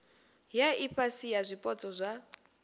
ya ifhasi ya zwipotso zwa